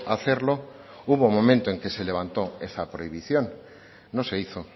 hacerlo hubo un momento en que se levantó esa prohibición no se hizo